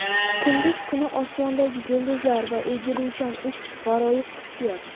Kunduz kuni osmondagi yulduzlar va egiluvchan ufq g‘aroyib hissiyot”.